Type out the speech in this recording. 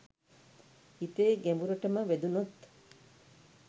හිතේ ගැඹුරටම වැදුණොත්